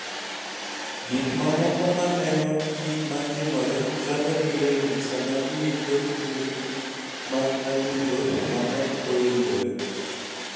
Gik mamoko ma neno gik matimore chako giwegi sama giwinjo ritm mag adundo ma ok owinjore.